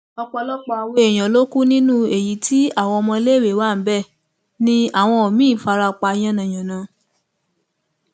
ọpọlọpọ àwọn èèyàn ló kú nínú èyí tí àwọn ọmọléèwé wa bẹẹ ni àwọn míín fara pa yànnà yànàá